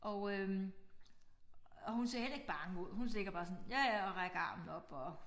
Og øh og hun ser heller ikke bange ud hun ligger bare sådan ja ja og rækker armen op og